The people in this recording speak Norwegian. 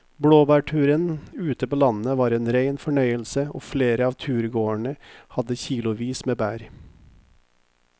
Blåbærturen ute på landet var en rein fornøyelse og flere av turgåerene hadde kilosvis med bær.